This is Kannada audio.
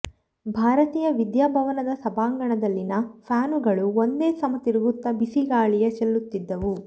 ಭಾರತೀಯ ವಿದ್ಯಾಭವನದ ಸಭಾಂಗಣದಲ್ಲಿನ ಫ್ಯಾನುಗಳು ಒಂದೇ ಸಮ ತಿರುಗುತ್ತ ಬಿಸಿಗಾಳಿಯ ಚೆಲ್ಲುತ್ತಿದ್ದವು